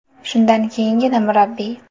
Shundan keyingina murabbiy.